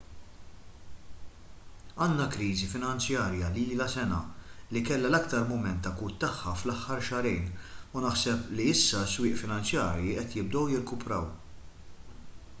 għandna kriżi finanzjarja li ilha sena li kellha l-aktar mument akut tagħha fl-aħħar xahrejn u naħseb li issa s-swieq finanzjarji qed jibdew jirkupraw